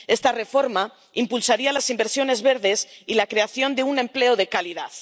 Esta reforma impulsaría las inversiones verdes y la creación de un empleo de calidad.